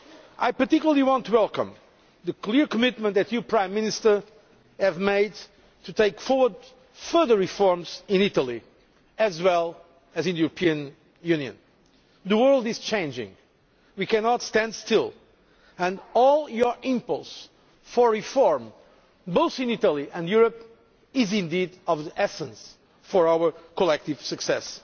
I particularly want to welcome the clear commitment that you, Prime Minister, have made to taking forward further reforms in Italy as well as in the European Union. The world is changing. We cannot stand still, and your impetus for reform, both in Italy and in Europe, is of the essence for our collective success.